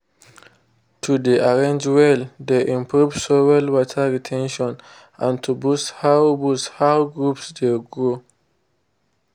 to dey arrange well dey improve soil water re ten tion and to boosts how boosts how groups dey grow.